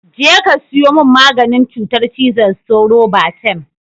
Je ka sayo min maganin cutar cizon sauro, Batem!